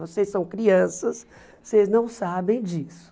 Vocês são crianças, vocês não sabem disso.